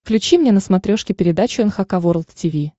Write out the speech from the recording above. включи мне на смотрешке передачу эн эйч кей волд ти ви